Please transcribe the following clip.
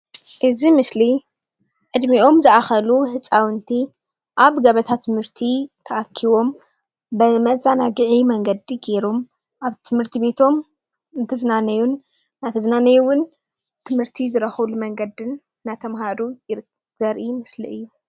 እዚ ምስሊ ዕድሚኦም ዝኣከሉ ህፃውንቲ ኣብ ገበታ ትምህርቲ ተኣኺቦም ብመዘናገዒ መንገዲ ገይሮም ኣብ ትምህርቲ ቤቶም እንትዝናነዩን እንዳትዝናነዩ እውን ትምህርቲ ዝረኽብሉ መንገዲን እንዳተምሃሩ ዘርኢ ምስሊ እዩ።